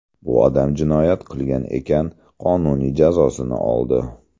Bu odam jinoyat qilgan ekan, qonuniy jazosini oldi.